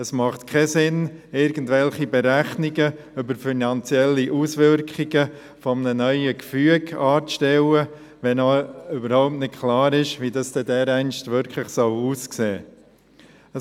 Es macht keinen Sinn, irgendwelche Berechnungen über die finanziellen Auswirkungen eines neuen Gefüges anzustellen, wenn überhaupt noch nicht klar ist, wie das dereinst aussehen soll.